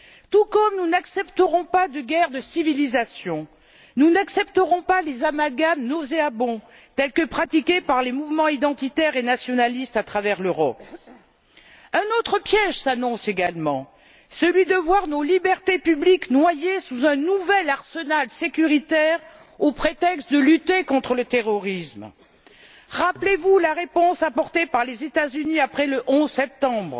Tout comme nous n'accepterons pas de guerre de civilisation, nous n'accepterons pas les amalgames nauséabonds pratiqués par les mouvements identitaires et nationalistes à travers l'Europe. Un autre piège s'annonce également, celui de voir nos libertés publiques noyées sous un nouvel arsenal sécuritaire au prétexte de lutter contre le terrorisme. Rappelez vous la réponse apportée par les États Unis après le 11 septembre